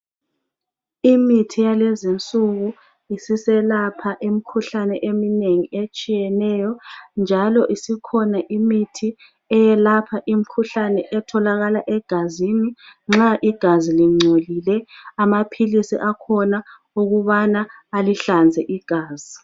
Imithi yalezi insuku isiselapha imikhuhlane eminengi etshiyeneyo njalo isikhona imithi eyelapha imkhuhlane etholakala egazini nxa igazi lingcolile amaphilisi akhona okubana alihlanze igazi.